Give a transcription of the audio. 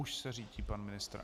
Už se řítí pan ministr.